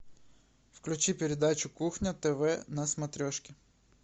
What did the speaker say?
включи передачу кухня тв на смотрешке